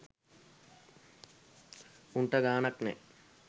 උන්ට ගානක් නෑ